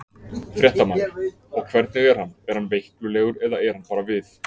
Fréttamaður: Og hvernig er hann, er hann veiklulegur eða er hann bara við?